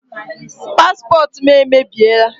Paspọtụ m emebiela.